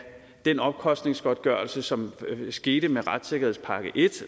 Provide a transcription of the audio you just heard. den omkostningsgodtgørelse som skete med retssikkerhedspakke i